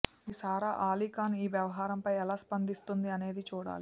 మరి సారా ఆలీఖాన్ ఈ వ్యవహారంపై ఎలా స్పందిస్తుంది అనేది చూడాలి